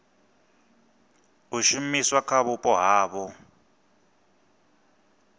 a shumiswa kha vhupo havho